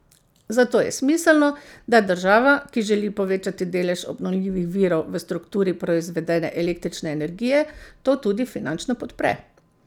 Zato je smiselno, da država, ki želi povečati delež obnovljivih virov v strukturi proizvedene električne energije, to tudi finančno podpre.